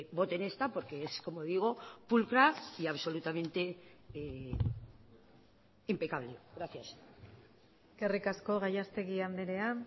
voten esta porque es como digo pulcra y absolutamente impecable gracias eskerrik asko gallastegi andrea